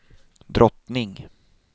drottning